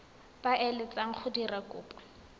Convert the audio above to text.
ba eletsang go dira kopo